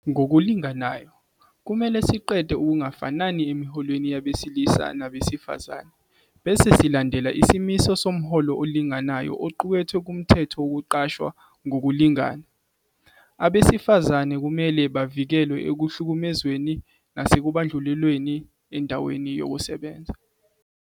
Ngokulinganayo, kumele siqede ukungafani emiholweni yabesilisa nabesifazane, bese silandela isimiso somholo olinganayo oqukethwe kuMthetho Wokuqashwa Ngokulingana. Abesifazane kumele bavikelwe ekuhlukumezweni nasekubandlululweni endaweni yokusebenza.